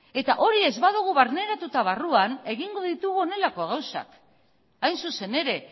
hori ez badugu barneratuta barruan egingo ditugu honelako gauzak hain zuzen ere